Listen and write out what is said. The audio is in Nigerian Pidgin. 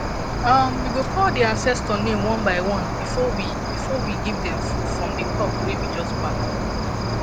um we go call the ancestor name one by one before we one before we give them food from the crops wey we just pack